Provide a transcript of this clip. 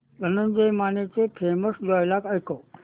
धनंजय मानेचे famous dialogue ऐकव